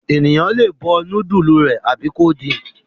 Ènìyàn le bọ núdúlù rẹ̀ tàbí kó din.